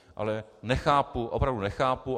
Ale nechápu, opravdu nechápu.